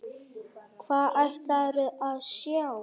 Hvað ætlarðu að sjá?